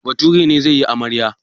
Bature ne zai yi amarya.